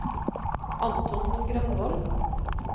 Anton Grønvold